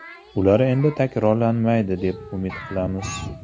Ular endi takrorlanmaydi deb umid qilamiz.